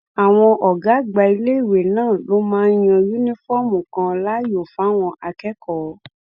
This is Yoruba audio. àwọn ọgá àgbà iléèwé náà ló máa yan yunifọọmù kan láàyò fáwọn akẹkọọ